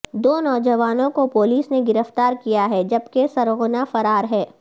دو نوجوانوں کو پولیس نے گرفتار کیا ہے جبکہ سرغنہ فرار ہے